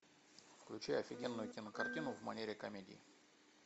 включай офигенную кинокартину в манере комедии